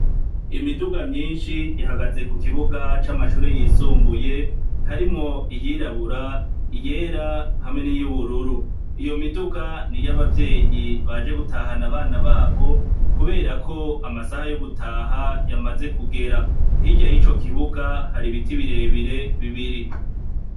Imiduga myinshi ihagaze kukibuga camashure yisumbuye harimwo iyirabura iyera hamwe niyubururu iyomiduga niyabavyeyi baje gutaha abana babo kubera ko amasaha yogutaha yamaze kugera hirya yicokibuga hari ibiti birebire bibiri